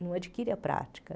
Não adquire a prática.